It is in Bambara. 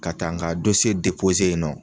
Ka taa nka yen nɔ